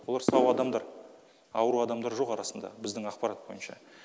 олар сау адамдар ауру адамдар жоқ арасында біздің ақпарат бойынша